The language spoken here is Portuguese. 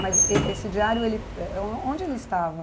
Mas eh esse diário, ele eh on onde ele estava?